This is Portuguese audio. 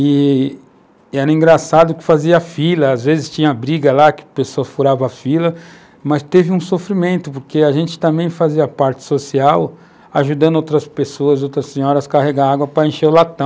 E era engraçado que fazia fila, às vezes tinha briga lá, que a pessoa furava a fila, mas teve um sofrimento, porque a gente também fazia parte social, ajudando outras pessoas, outras senhoras a carregar água para encher o latão.